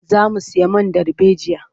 Za mu sayi man darbejiya.